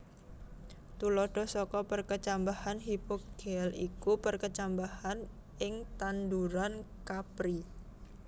Tuladha saka perkecambahan hipogéal ya iku perkecambahan ing tanduran kapri